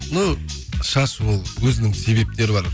ну шаш ол өзінің себептері бар